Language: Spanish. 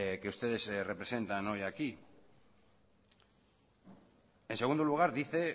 que ustedes representan hoy aquí en segundo lugar dice